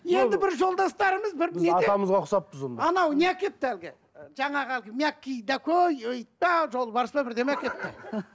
енді бір жолдастарымыз бір неде анау не әкепті әлгі жаңағы әлгі мягкий ит пе жолбарыс па бірдеңе әкеліпті